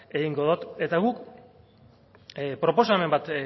egingo dot eta guk proposamen bat